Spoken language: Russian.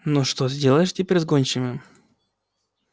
но что сделаешь теперь с гончими